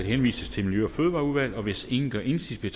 henvises til miljø og fødevareudvalget hvis ingen gør indsigelse